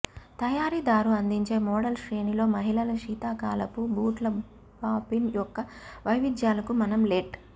తయారీదారు అందించే మోడల్ శ్రేణిలో మహిళల శీతాకాలపు బూట్ల బాఫిన్ యొక్క వైవిధ్యాలకు మనం లెట్